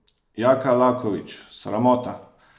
Jaka Lakovič: "Sramota.